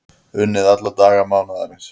Unnið alla daga mánaðarins